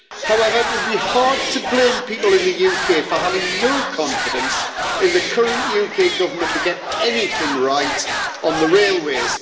However, it would be hard to blame people in the UK for having no confidence in the current UK Government to get anything right on the railways.